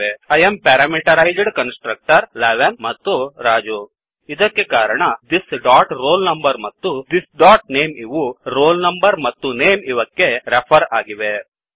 I am parameterized constructor 11 ಮತ್ತು ರಾಜು ಇದಕ್ಕೆ ಕಾರಣ thisroll number ಮತ್ತು thisನೇಮ್ ಇವು roll number ಮತ್ತು ನೇಮ್ ಇವಕ್ಕೆ ರೆಫರ್ ಆಗಿವೆ